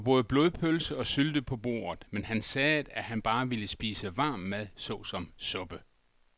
Der var både blodpølse og sylte på bordet, men han sagde, at han bare ville spise varm mad såsom suppe.